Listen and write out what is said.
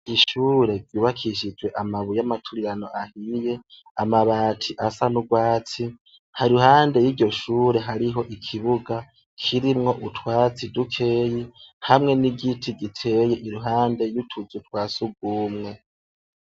Ishure ryubakishijwe amabuye y'amaturirano ahiye, amabati asa n'urwatsi, haruhande y'iryo shure hariho ikibuga kirimwo utwatsi dukeyi hamwe n'igiti giteye iruhande y'utuzu twa sugumwe.